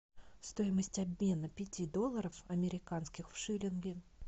стоимость обмена пяти долларов американских в шиллинги